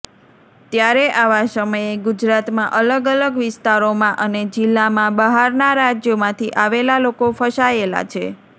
ત્યારે આવા સમયે ગુજરાતમાં અલગ અલગ વિસ્તારોમાં અને જિલ્લામાં બહારના રાજ્યોમાંથી આવેલા લોકો ફસાયેલા છે